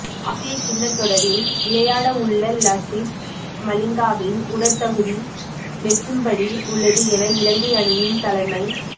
ஆசிய கிண்ண தொடரில் விளையாடவுள்ள லசித் மலிங்காவின் உடற்தகுதி மெச்சும்படி உள்ளது என இலங்கை அணியின் தலைமை